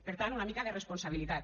per tant una mica de responsabilitat